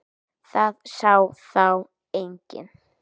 Það sá þá enginn.